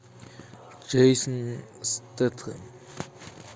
джейсон стэтхэм